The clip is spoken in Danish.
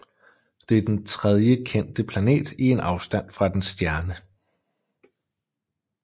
Det er den tredje kendte planet i en afstand fra dens stjerne